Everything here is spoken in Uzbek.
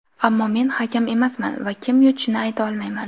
Ammo men hakam emasman va kim yutishini ayta olmayman.